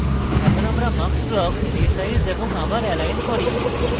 আমি এখন mux block resize এবং আবার এলাইন করি